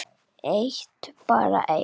Eitt barn enn?